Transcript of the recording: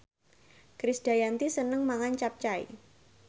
Krisdayanti seneng mangan capcay